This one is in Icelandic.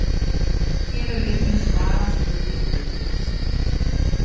Hér er einnig svarað spurningu Viktors: